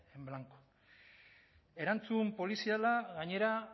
en blanco erantzun poliziala gainera